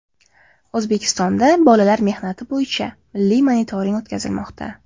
O‘zbekistonda bolalar mehnati bo‘yicha milliy monitoring o‘tkazilmoqda.